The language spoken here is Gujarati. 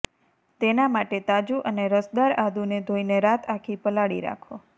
તેના માટે તાજુ અને રસદાર આદુને ધોઈને રાત આખી પલાળી રાખો